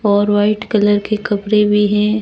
और white colour के कपड़े भी हैं।